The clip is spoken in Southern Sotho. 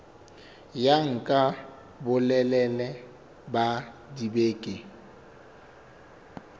ya nka bolelele ba dibeke